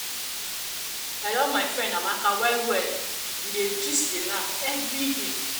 i love my friend amaka well well we dey gist dey laugh everyday.